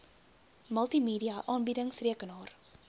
multimedia aanbiedings rekenaar